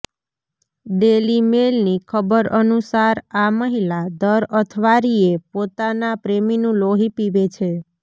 daily મેઈલની ખબર અનુસાર આ મહિલા દર અથવારીયે પોતાના પ્રેમીનું લોહી પીવે છે